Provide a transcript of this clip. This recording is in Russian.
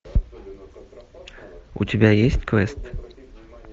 у тебя есть квест